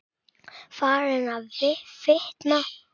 Farin að fitna.